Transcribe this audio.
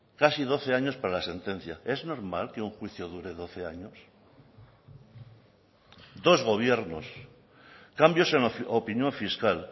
casi doce años para la sentencia es normal que un juicio dure doce años dos gobiernos cambios en la opinión fiscal